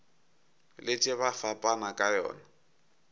letše ba fapana ka yona